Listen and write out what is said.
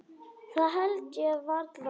Það held ég varla.